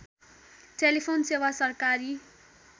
telephone सेवा सरकारी